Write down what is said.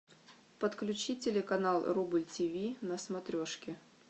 подключи телеканал рубль тв на смотрешке